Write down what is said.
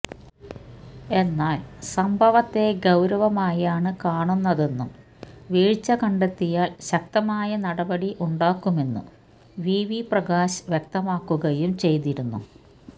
എന്നാൽ സംഭവത്തെ ഗൌരവമായാണ് കാണുന്നതെന്നും വീഴ്ച്ചകണ്ടെത്തിയാൽ ശക്തമായ നടപടി ഉണ്ടാക്കുമെന്നും വി വി പ്രകാശ് വ്യക്തമാക്കുകയും ചെയ്തിരുന്നു